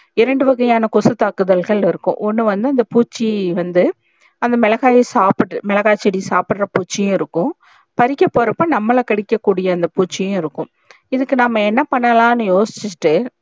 இரண்டு வகையான கொசு தாக்குதல்கள் இருக்கும் ஒன்னு வந்து அந்த பூச்சி வந்து அந்த மிளகாயே சாப்ட்று மிளகாய் செடி சாப்டற பூச்சி இருக்கும் பறிக்க போறப்ப நம்மள கடிக்க கூடிய அந்த பூச்சியம் இருக்கும் இதுக்கு நம்ம என்ன பன்லான்னு யோசிச்சிட்டு